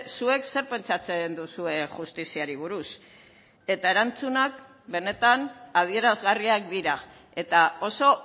zuek zer pentsatzen duzue justiziari buruz eta erantzunak benetan adierazgarriak dira eta oso